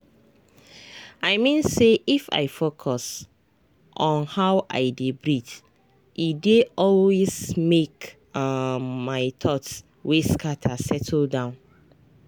i mean say if i focus on how i dey breathee dey always make um my thoughts wey scatter settle down.